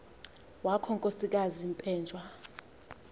wakho nkosikazi penjwa